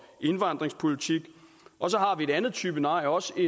indvandringspolitik og så har vi en anden type nej også